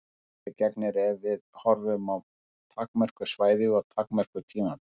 Öðru máli gegnir ef við horfum á takmörkuð svæði og takmörkuð tímabil.